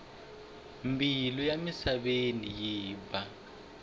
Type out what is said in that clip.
mbilu ya misaveni yi ba